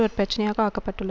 ஒரு பிரச்சினையாக ஆக்கப்பட்டுள்ள